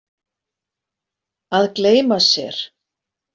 Að gleyma sér